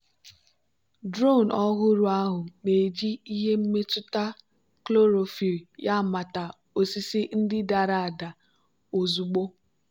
drone ọhụrụ ahụ na-eji ihe mmetụta chlorophyll ya mata osisi ndị dara ada ozugbo.